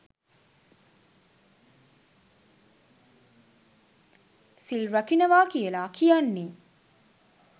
සිල් රකිනවා කියලා කියන්නේ.